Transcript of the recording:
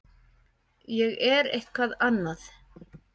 Ég er eitthvað annað.